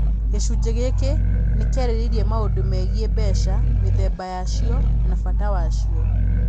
Gĩcunjĩ gĩkĩ nĩ kĩarĩrĩirie maũndũ megiĩ mbeca, mĩthemba yacio, na bata wacio.